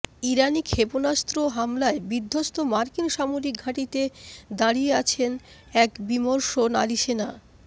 ইরানি ক্ষেপণাস্ত্র হামলায় বিধ্বস্ত মাার্কিন সামরিক ঘাঁটিতে দাঁড়িয়ে আছে বিমর্ষ এক নারী সেনা